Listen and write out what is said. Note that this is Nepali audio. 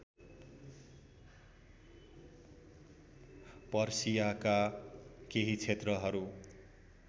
पर्सियाका केही क्षेत्रहरु